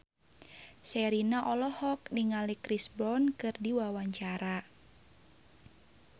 Sherina olohok ningali Chris Brown keur diwawancara